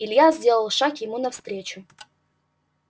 илья сделал шаг ему навстречу